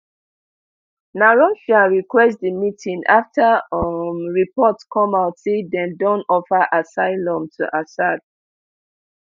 na russia request di meeting after um reports come out say dem don offer assylum to assad